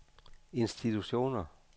institutioner